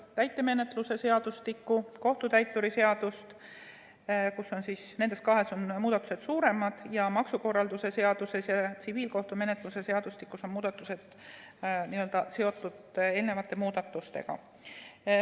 Täitemenetluse seadustikus ja kohtutäituri seaduses on muudatused suuremad, maksukorralduse seaduses ja tsiviilkohtumenetluse seadustikus on muudatused n‑ö seotud eelnevate muudatustega.